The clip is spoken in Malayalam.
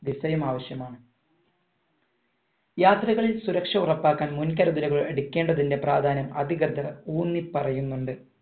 visa യും ആവശ്യമാണ് യാത്രകളിൽ സുരക്ഷ ഉറപ്പാക്കാൻ മുൻകരുതലുകൾ എടുക്കേണ്ടതിന്റെ പ്രാധാന്യം അതികട്ട ഊന്നിപ്പറയുന്നുണ്ട്